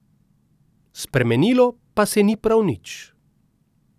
Spremenilo se pa ni prav nič.